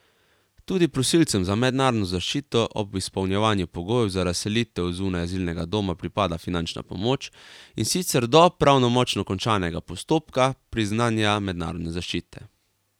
Tudi prosilcem za mednarodno zaščito ob izpolnjevanju pogojev za razselitev zunaj azilnega doma pripada finančna pomoč, in sicer do pravnomočno končanega postopka priznanja mednarodne zaščite.